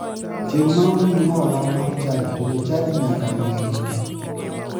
Chieng'ma omiyi hola mar chadi to jochadi nyaka ng'e.